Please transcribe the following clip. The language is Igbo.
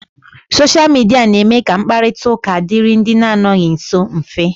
Soshia Midia na-eme ka mkparita ụka dịịrị ndị anọghị nsọ mfe.